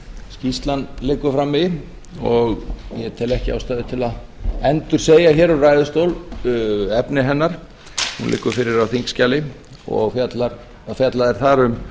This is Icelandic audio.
skýrslan liggur frammi og ég tel ekki ástæðu til að endursegja hér úr ræðustól efni hennar hún liggur fyrir á þingskjali og fjallað er þar um